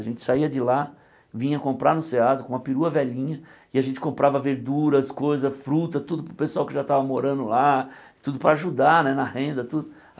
A gente saía de lá, vinha comprar no SEASA com uma perua velhinha e a gente comprava verduras, coisas, frutas, tudo para o pessoal que já estava morando lá, tudo para ajudar né na renda, tudo.